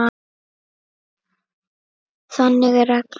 Þannig er reglan.